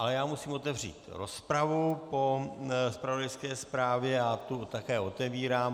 Ale já musím otevřít rozpravu po zpravodajské zprávě a tu také otevírám.